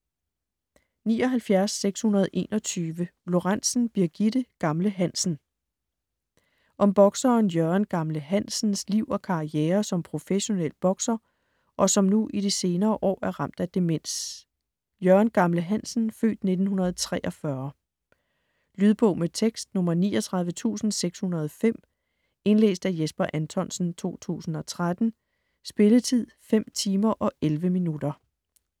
79.621 Lorentzen, Birgitte: Gamle Hansen Om bokseren Jørgen "Gamle" Hansens (f. 1943) liv og karriere som professionel bokser, og som nu i de senere år er ramt af demens. Lydbog med tekst 39605 Indlæst af Jesper Anthonsen, 2013. Spilletid: 5 timer, 11 minutter.